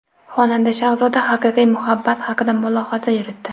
Xonanda Shahzoda haqiqiy muhabbat haqida mulohaza yuritdi.